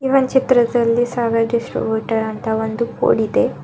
ಈ ಒನ್ ಚಿತ್ರದಲ್ಲಿ ಸಾಗರ್ ಡಿಸ್ಟ್ರಿಬ್ಯೂಟರ್ ಅಂತ ಬೋರ್ಡ್ ಇದೆ.